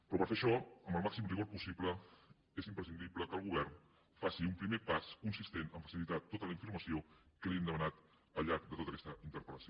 però per fer això amb el màxim rigor possible és imprescindible que el govern faci un primer pas consistent a facilitar tota la informació que li hem demanat al llarg de tota aquesta interpel·lació